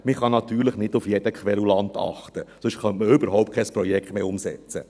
Man kann natürlich nicht auf jeden Querulanten achten, sonst könnte man überhaupt kein Projekt mehr umsetzen.